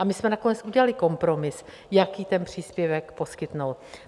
A my jsme nakonec udělali kompromis, jaký ten příspěvek poskytnout.